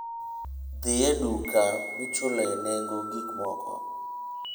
Dhi e duka michuloe nengo gik moko.